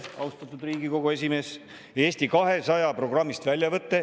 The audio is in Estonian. Austatud Riigikogu esimees, väljavõte Eesti 200 programmist.